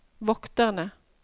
vokterne